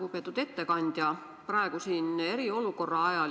Lugupeetud ettekandja!